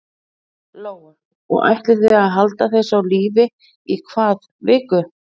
Lóa: Og ætlið þið að halda þessu á lífi í hvað viku?